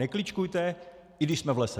Nekličkujte, i když jsme v lese.